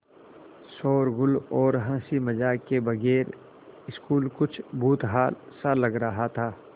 शोरोगुल और हँसी मज़ाक के बगैर स्कूल कुछ भुतहा सा लग रहा था